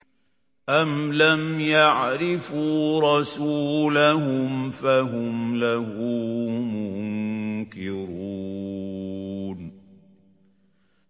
أَمْ لَمْ يَعْرِفُوا رَسُولَهُمْ فَهُمْ لَهُ مُنكِرُونَ